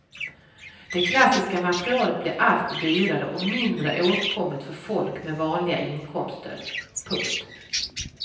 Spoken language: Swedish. Det klassiska materialet blir allt dyrare och mindre åtkomligt för folk med vanliga inkomster. punkt